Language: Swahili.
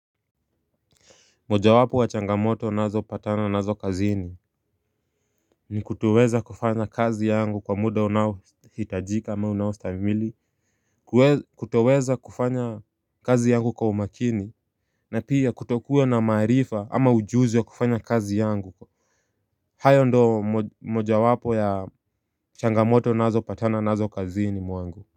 Mojawapo wa changamoto nazopatana nazo kazini ni kutoweza kufanya kazi yangu kwa muda unaohitajika ama unaostahimili. Kutoweza kufanya kazi yangu kwa umakini na pia kutokuwa na maarifa ama ujuzi wa kufanya kazi yangu. Hayo ndo mojawapo ya changamoto nazopatana nazo kazini mwangu.